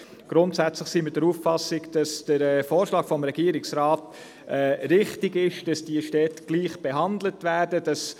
Grundsätzlich sind wir der Auffassung, der Vorschlag des Regierungsrats, wonach die Städte gleich behandelt werden, sei richtig ist.